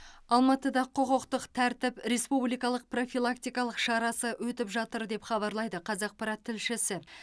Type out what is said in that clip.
алматыда құқықтық тәртіп республикалық профилактикалық шарасы өтіп жатыр деп хабарлайды қазақпарат тілшісі